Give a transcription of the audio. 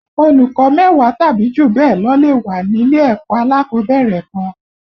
Olùkó mẹ́wàá tàbí jù bẹ́ẹ̀ lọ lè wá nílé ẹ̀kọ́ alákọ̀ọ́bẹ̀rẹ̀ kan